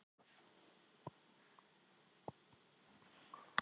bíllinn er knúinn tveimur þotuhreyflum og er mjög straumlínulagaður